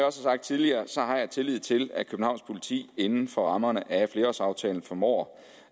har sagt tidligere har jeg tillid til at københavns politi inden for rammerne af flerårsaftalen formår